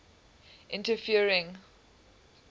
interferencing